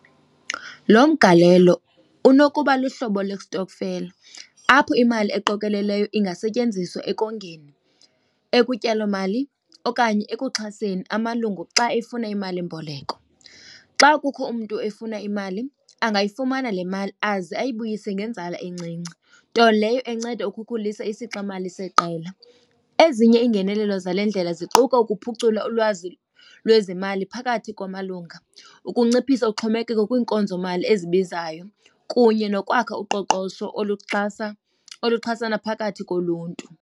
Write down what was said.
Lo mgalelo unokuba luhlobo lestokfela apho imali eqokelelweyo ingasetyenziswa ekongeni, ekutyalomali okanye ekuxhaseni amalungu xa efuna imalimboleko. Xa kukho umntu efuna imali, angayifumana le mali aze uyibuyise ngenzala encinci, nto leyo enceda ukukhulisa isixamali seqela. Ezinye iingenelelo zale ndlela ziquka ukuphucula ulwazi lwezemali phakathi kwamalunga, ukunciphisa uxhomekeko kwiinkonzomali ezibizayo kunye nokwakha uqoqosho oluxhasa, oluxhasana phakathi koluntu.